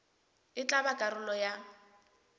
e tla ba karolo ya